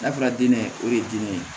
N'a fɔra diinɛ o de ye diinɛ ye